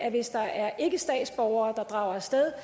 at hvis der er ikkestatsborgere der drager af sted